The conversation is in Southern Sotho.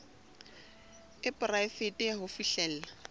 e poraefete ya ho fihlella